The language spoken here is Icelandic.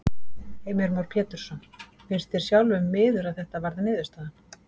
Heimir Már Pétursson: Finnst þér sjálfum miður að þetta varð niðurstaðan?